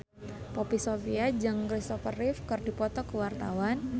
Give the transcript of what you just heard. Poppy Sovia jeung Christopher Reeve keur dipoto ku wartawan